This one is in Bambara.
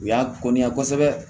U y'a ko niya kosɛbɛ